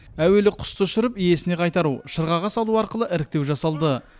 әуелі құсты ұшырып иесіне қайтару шырғаға салу арқылы іріктеу жасалды